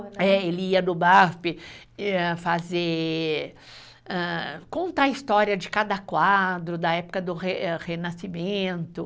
Ele ia no MASP, fazer, contar a história de cada quadro da época do re Renascimento.